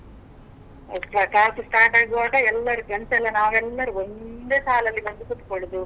ಹೌದು class start ಆಗುವಾಗ ಎಲ್ಲರೂ friends ಎಲ್ಲ ನಾವೆಲ್ಲರೂ ಒಂದೇ ಸಾಲಲ್ಲಿ ಬಂದು ಕೂತ್ಕೊಳ್ಳುದು.